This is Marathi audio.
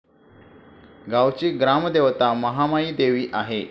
गावाची ग्रामदेवता महामाईदेवी आहे.